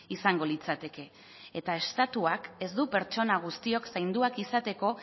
izango litzateke eta estatuak ez du pertsona guztiok zainduak izateko